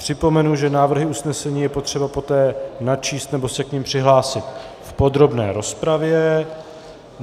Připomenu, že návrhy usnesení je potřeba poté načíst nebo se k nim přihlásit v podrobné rozpravě.